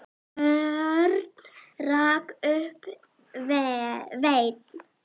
Örn rak upp vein.